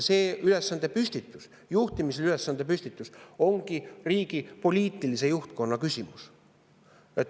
See juhtimisülesande püstitus ongi riigi poliitilise juhtkonna küsimus.